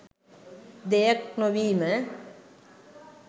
දෙයක් නොවීම.